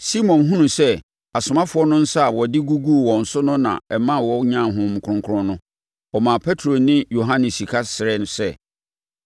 Simon hunuu sɛ asomafoɔ no nsa a wɔde guguu wɔn so no na ɛmaa wɔnyaa Honhom Kronkron no, ɔmaa Petro ne Yohane sika srɛɛ sɛ,